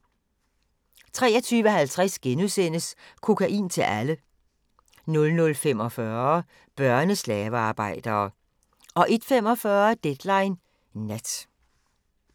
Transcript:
23:50: Kokain til alle! * 00:45: Børneslavearbejdere 01:45: Deadline Nat